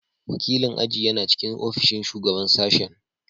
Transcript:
Wakilin aji yana cikin ofishin Shugaban Sashen.